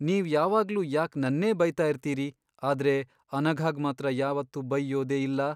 ನೀವ್ ಯಾವಾಗ್ಲೂ ಯಾಕ್ ನನ್ನೇ ಬೈತಾ ಇರ್ತೀರಿ, ಆದ್ರೆ ಅನಘಾಗ್ ಮಾತ್ರ ಯಾವತ್ತೂ ಬೈಯ್ಯೋದೇ ಇಲ್ಲ?